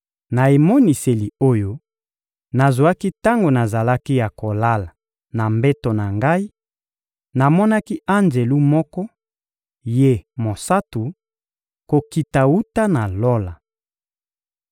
Na emoniseli oyo nazwaki tango nazalaki ya kolala na mbeto na ngai, namonaki anjelu moko, ye mosantu, kokita wuta na Lola.